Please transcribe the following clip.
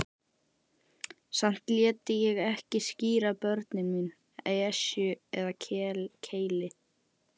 Samt léti ég ekki skíra börnin mín Esju eða Keili.